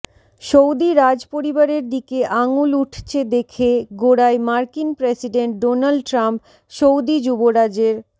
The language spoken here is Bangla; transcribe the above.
সৌদি রাজ পরিবারের দিকে আঙুল উঠছে দেখে গো়ড়ায় মার্কিন প্রেসিডেন্ট ডোনাল্ড ট্রাম্প সৌদি যুবরাজের